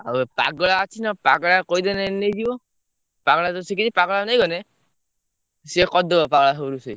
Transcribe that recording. ଆଉ ଏ ପାଗେଳା ଅଛି ନା ପାଗେଳା କୁ କହିଦେନେ ନେଇଯିବ। ପାଗଳା ତ ଶିଖିଛି ପାଗଳା କୁ ନେଇ ଗନେ ସିଏ କରିଦବ ପାଗଳା ସବୁ ରୁଷେଇ।